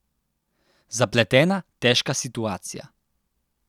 Zapletena, težka situacija.